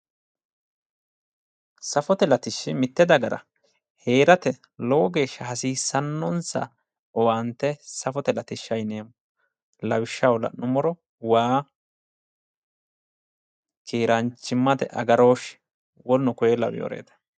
Safote latishshi mitte dagara heerate lowo geeshsha hasiissannonsa owaante safote latishsha yineemmo. Lawishshaho la'nummoro waa, keeraanchimate agarooshshe, woleno koye lawiworeeti.